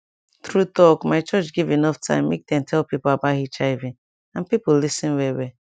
true talk my church give enough time make dem tell pipo about hiv and pipo lis ten well well